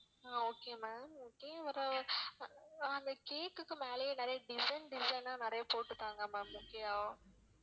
ஆஹ் okay ma'am okay ஒரு ஆஹ் அந்த cake க்கு மேலயே நிறையா design design ஆ நிறையா போட்டுத்தாங்க ma'am okay யா